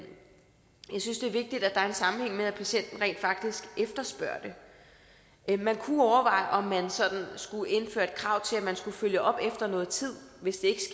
sammenhæng med at patienten rent faktisk efterspørger det man kunne overveje om man skulle indføre et krav til at man skulle følge op efter noget tid hvis det